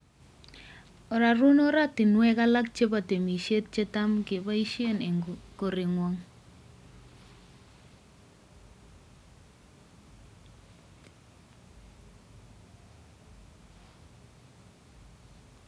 Ororun oratinwek alak chebo temisiet chetam keboisien en koreng'wong'